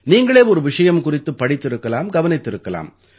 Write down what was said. நீங்களே ஒரு விஷயம் குறித்துப் படித்திருக்கலாம் கவனித்திருக்கலாம்